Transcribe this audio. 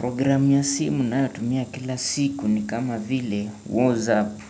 Program ya simu na yotumia kila siku ni kama vile Wozapp.